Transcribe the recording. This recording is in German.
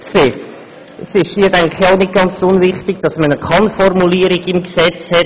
Nicht ganz unwichtig erscheint mir hier auch, dass man eine Kann-Formulierung im Gesetz hat.